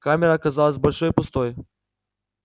камера казалась большой и пустой